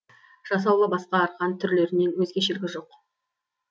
жасалуы басқа арқан түрлерінен өзгешелігі жоқ